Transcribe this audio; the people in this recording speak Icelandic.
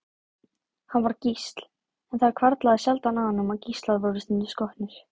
Hann var gísl, en það hvarflaði sjaldan að honum að gíslar væru stundum skotnir.